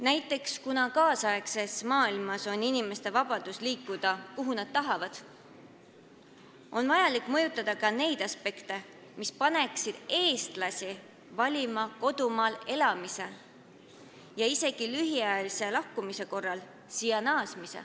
Näiteks, kuna praeguses maailmas on inimestel vabadus liikuda, kuhu nad tahavad, on vaja mõjutada ka neid aspekte, mis paneksid eestlasi valima kodumaal elamise ja siia naasmise isegi lühiajalise lahkumise korral.